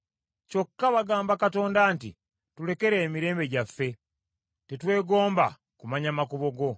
Kyokka bagamba Katonda nti, ‘Tulekere emirembe gyaffe! Tetwegomba kumanya makubo go.